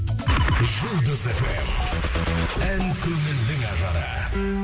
жұлдыз фм ән көңілдің ажары